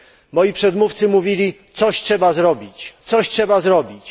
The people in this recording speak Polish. Moi przedmówcy mówili coś trzeba zrobić, coś trzeba zrobić.